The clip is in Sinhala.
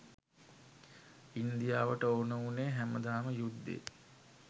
ඉන් දියාවට ඕන උනේ හැමදාම යුද්දෙ